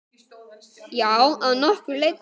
Já, að nokkru leyti.